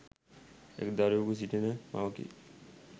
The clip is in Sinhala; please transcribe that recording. එක්‌ දරුවකු සිටින මවකි.